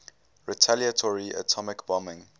retaliatory atomic bombing